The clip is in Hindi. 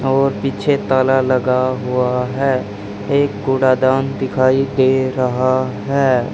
और पीछे ताला लगा हुआ है एक कूड़ा दान दिखाई दे रहा है।